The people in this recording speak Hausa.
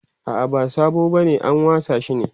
a'a ba sabo bane an wasa shi ne